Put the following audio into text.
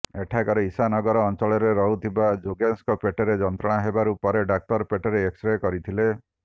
ଏଠାକାର ଇଶା ନଗର ଅଞ୍ଚଳରେ ରହୁଥିବା ଯୋଗେଶଙ୍କ ପେଟରେ ଯନ୍ତ୍ରଣା ହେବା ପରେ ଡାକ୍ତର ପେଟର ଏକ୍ସରେ କରିଥିଲେ